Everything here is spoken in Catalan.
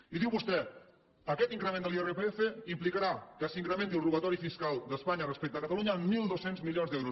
i diu vostè aquest increment de l’irpf implicarà que s’incrementi el robatori fiscal d’espanya respecte a catalunya en mil dos cents milions d’euros